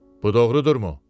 Bu doğrudurmu?